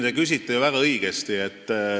Te küsite ju väga õigesti.